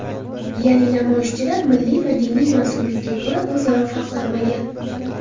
Ya’ni namoyishchilar milliy va diniy mansublikka ko‘ra o‘zaro farqlanmagan.